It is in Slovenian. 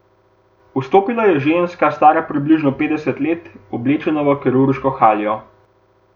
Vstopila je ženska, stara približno petdeset let, oblečena v kirurško haljo.